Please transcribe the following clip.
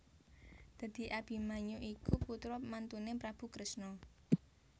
Dadi Abimanyu iku putra mantuné Prabu Kresna